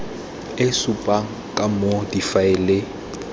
e supang ka moo difaele